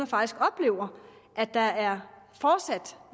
faktisk oplever at der er